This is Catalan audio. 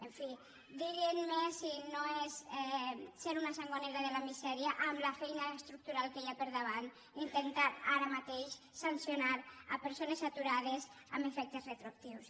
en fi diguin me si no és ser una sangonera de la misèria amb la feina estructural que hi ha per davant intentar ara mateix sancionar persones aturades amb efectes retroactius